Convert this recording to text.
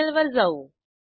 terminal वर जाऊ